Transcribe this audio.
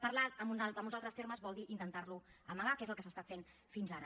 parlar amb uns altres termes vol dir intentar lo amagar que és el que s’ha estat fent fins ara